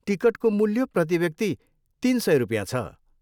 टिकटको मूल्य प्रतिव्यक्ति तिन सय रुपियाँ छ।